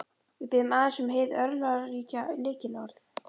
Við biðjum aðeins um hið örlagaríka lykilorð.